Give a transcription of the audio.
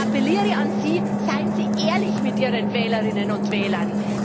Ich appelliere an Sie Seien Sie ehrlich mit Ihren Wählerinnen und Wählern!